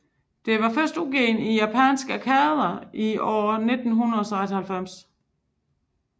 Det var først udgivet i de japanske arkader i år1996